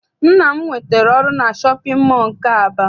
Nna m nwetara ọrụ na shọpịn mọọ nke Aba.